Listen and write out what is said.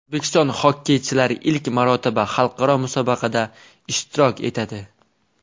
O‘zbekiston xokkeychilari ilk marotaba xalqaro musobaqada ishtirok etadi.